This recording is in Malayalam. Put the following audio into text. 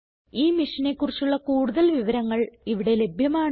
ഈ മിഷനെ കുറിച്ചുള്ള കുടുതൽ വിവരങ്ങൾ ഇവിടെ ലഭ്യമാണ്